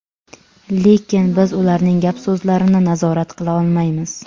Lekin biz ularning gap-so‘zlarini nazorat qila olmaymiz.